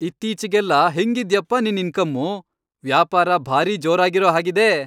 ಇತ್ತೀಚೆಗೆಲ್ಲ ಹೆಂಗಿದ್ಯಪ್ಪ ನಿನ್ ಇನ್ಕಮ್ಮು, ವ್ಯಾಪಾರ ಭಾರೀ ಜೋರಾಗಿರೋ ಹಾಗಿದೆ.